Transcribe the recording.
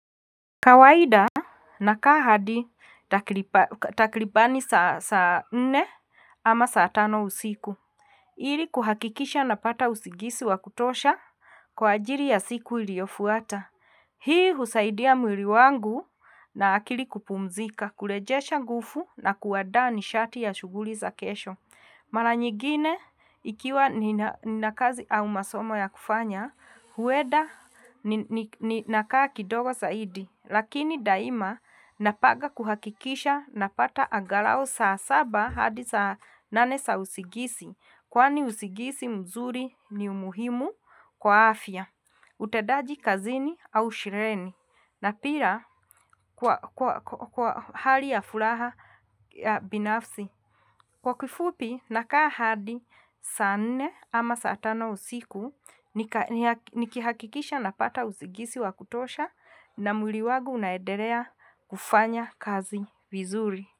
Kawaida na kaa hadi takilibani saa nne ama saa tano usiku. Iri kuhakikisha napata usigisi wa kutosha kwa ajiri ya siku iliofuata. Hii husaidia mwiri wangu na akili kupumzika kurejesha gufu na kuwadaa nishati ya shuguli za kesho. Mara nyigine ikiwa ni nakazi au masomo ya kufanya, hueda ni nakaa kidogo saidi, lakini daima napaga kuhakikisha na pata angalau saa saba hadi saa nane za usigisi, kwani usigisi mzuri ni umuhimu kwa afya, utedaji kazini au shireni, na pira kwa hali ya furaha binafsi. Kwa kifupi na kaa hadi saa nne ama saa tano usiku nikihakikisha napata usigisi wa kutosha na mwiri wagu unaederea kufanya kazi vizuri.